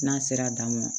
N'a sera daamu na ma